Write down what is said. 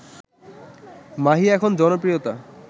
মাহি এখন জনপ্রিয়তা